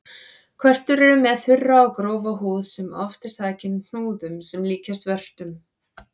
Körtur eru með þurra og grófa húð sem oft er þakin hnúðum sem líkjast vörtum.